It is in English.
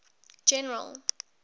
general